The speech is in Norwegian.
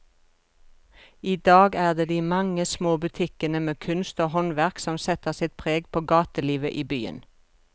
I dag er det de mange små butikkene med kunst og håndverk som setter sitt preg på gatelivet i byen.